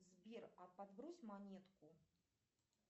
сбер а подбрось монетку